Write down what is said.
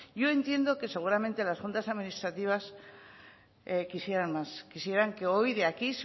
yo entiendo que seguramente las juntas administrativas quisieran más quisieran que hoy de aquí